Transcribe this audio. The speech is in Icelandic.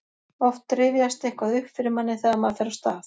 oft rifjast eitthvað upp fyrir manni þegar maður fer af stað